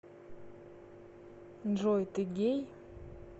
джой ты гей